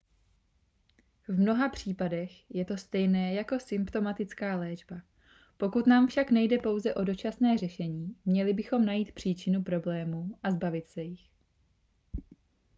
v mnoha případech je to stejné jako symptomatická léčba pokud nám však nejde pouze o dočasné řešení měli bychom najít příčinu problémů a zbavit se jich